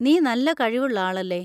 നീ നല്ല കഴിവുള്ള ആളല്ലേ.